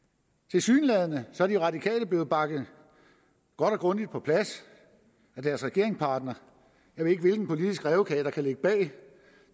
tilsyneladende er de radikale blevet banket godt og grundigt på plads af deres regeringspartner jeg ved ikke hvilken politisk rævekage der kan ligge bag